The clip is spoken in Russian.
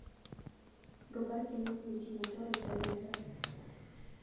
врубай кино включи мотор и сдай назад